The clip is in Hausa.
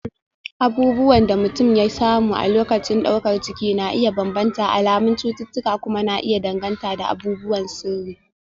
abubuwan da mutum ya samu a lokacin daukar ciki na iya bambanta, alamun cututtuka kuma na iya danganta da abubuwan sirri